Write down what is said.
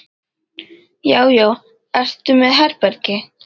Já já. ertu með herbergi?